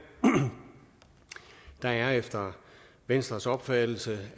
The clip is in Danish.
der er efter venstres opfattelse